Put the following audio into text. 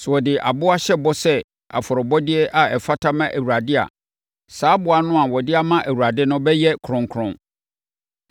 “ ‘Sɛ ɔde aboa hyɛ bɔ sɛ afɔrebɔdeɛ a ɛfata ma Awurade a, saa aboa no a ɔde ama Awurade no bɛyɛ kronkron.